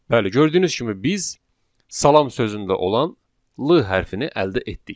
Bəli, gördüyünüz kimi biz salam sözündə olan l hərfin əldə etdik.